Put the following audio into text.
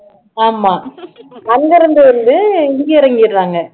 ஆமா அங்க இருந்து வந்து இங்க இறங்கிடுறாங்க